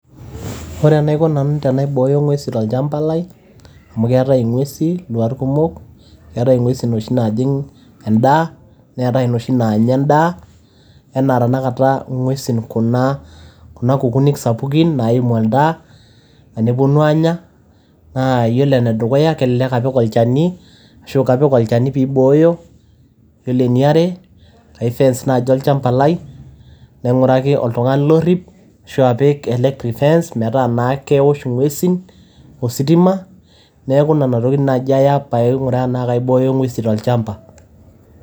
Ore enaiko tenaibooyo ing'uesin tolchamba lai, amu keetai eng'uesin iluat kumok, keetai ing'uesin inoshi naajing' endaa neatai inoshi naanya endaa . Enaa ing'uesin kuna kukunik sapukin naaimu oltaa nepuonu aanya naa kelelek apik alchani ashu kapik olachani pee booyo. Iyiolo eniare naa kaifence naaji olchamba lai nan'uraki oltungani orip, ashu apik electric fence metaa naa keosh ing'uesin ositima. Neaku inena tokitin naji aya pee adol tenaa kaibooyo ing'uesin tolchamba.